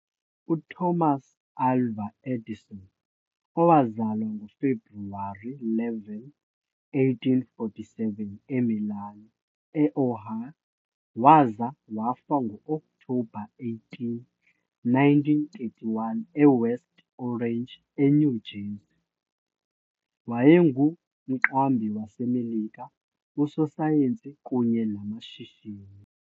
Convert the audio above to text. UThomas Alva Edison, owazalwa ngoFebruwari 11, 1847 eMilan, eOhio waza wafa ngo-Oktobha 18, 1931 eWest Orange, eNew Jersey, wayengumqambi waseMelika, usosayensi kunye nosomashishini.